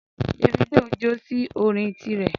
Davido jó sí orin ti rẹ̀